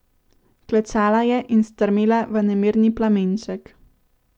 Klečala je in strmela v nemirni plamenček.